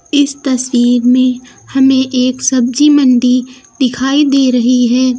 इस तस्वीर में हमें एक सब्जी मंडी दिखाई दे रही है।